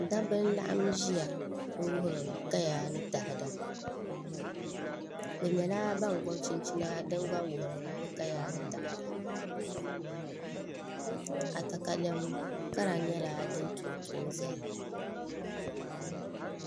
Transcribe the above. Dabba n laɣam ʒiya n wuhuri kaya ni taada bi nyɛla ban gobi chinchina din gba wuhuri bi kaya ni taada akatalɛm kara nyɛla din tonto n ʒɛya